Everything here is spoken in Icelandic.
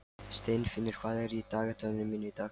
Steinfinnur, hvað er í dagatalinu mínu í dag?